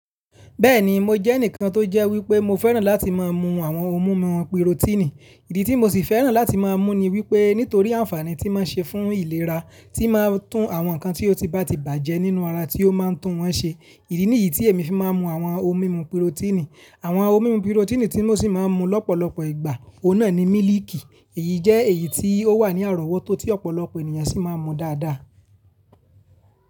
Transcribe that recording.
Bẹ́ẹ̀ni, mo jẹ́ ẹnìkan tó jẹ́ wípé mo fẹ́ràn láti máa mu àwọn ohun mímu pírotínì. Ìdí tí mo sì fẹ́ràn láti máa mú ni wípé nítorí àǹfààní tí máa ń ṣe fún ìlera, tí máa ń tún àwọn ǹkan tí ó ti bá ti bàjẹ́ nínú ara tí ó máa ń tún wọn ṣe. Ìdí nìyí tí èmi fi máa ń mu àwọn ohun mímu pírotínì. Àwọn ohun mímu pírotínì tí mo sì máa ń mu lọ́pọ̀lọpọ̀ ìgbà, ọ̀hun nàa ni mílíìkì. Èyí jẹ́ èyí tí ó wà ní àròwótó tí ọ̀pọ̀lọpọ̀ ènìyàn sì máa ń mu dáadáa.